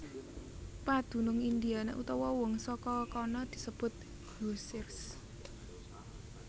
Padunung Indiana utawa wong saka kana disebut Hoosiers